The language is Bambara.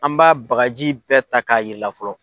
An b'a bagaji bɛɛ ta k'a yiri la fɔlɔ.